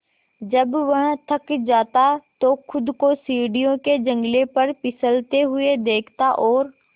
जब वह थक जाता तो खुद को सीढ़ियों के जंगले पर फिसलते हुए देखता और